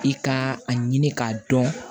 I ka a ɲini k'a dɔn